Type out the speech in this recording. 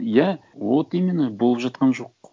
иә вот именно болып жатқан жоқ